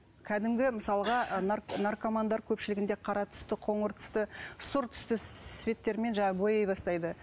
кәдімгі мысалға наркомандар көпшілігінде қара түсті қоңыр түсті сұр түсті цветтермен жаңағы бояй бастайды